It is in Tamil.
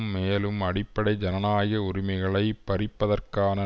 மேலும் அடிப்படை ஜனநாயக உரிமைகளை பறிப்பதற்கான